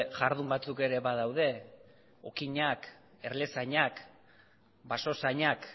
jardun batzuk ere badaude okinak erlezainak basozainak